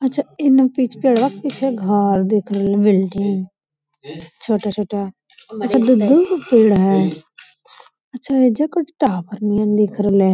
अच्छा एने पिच पे रक्त छै घर दू बिल्डिंग छोटा-छोटा अच्छा के पेड़ हेय अच्छा एजा कौन चीज टावर नियन दिख रहले ये।